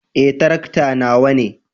Eh, tarakta nawa ne.